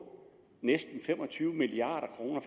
næsten fem og tyve milliard kroner